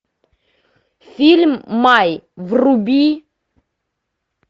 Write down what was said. фильм май вруби